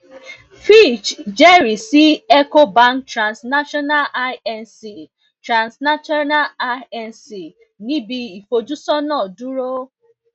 fitch jẹrìí sí ecobank transnational inc transnational inc um ní b ìfojúsójú dúró